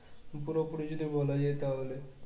পুরোপুরি যদি বলা যায় তাহলে